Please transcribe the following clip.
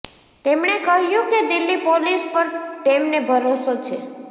તેમણે કહ્યું કે દિલ્હી પોલીસ પર તેમને ભરોસો છે